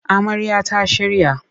Amarya ta shirya